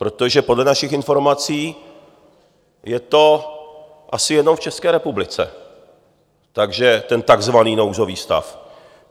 Protože podle našich informací je to asi jenom v České republice, ten takzvaný nouzový stav.